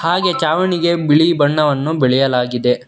ಹಾಗೆ ಚಾವಣಿಗೆ ಬಿಳಿ ಬಣ್ಣವನ್ನು ಬಳಿಯಲಾಗಿದೆ.